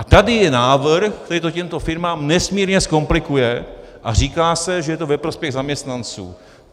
A tady je návrh, který to těmto firmám nesmírně zkomplikuje a říká se, že to je ve prospěch zaměstnanců.